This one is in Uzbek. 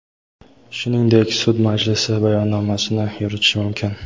shuningdek sud majlisi bayonnomasini yuritishi mumkin.